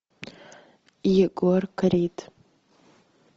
егор крид